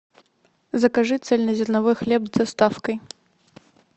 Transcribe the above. закажи цельнозерновой хлеб с доставкой